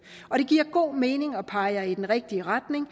det giver god mening og peger i den rigtige retning